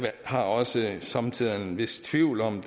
har også somme tider en vis tvivl om